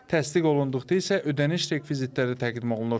Təsdiq olunduqda isə ödəniş rekvizitləri təqdim olunur.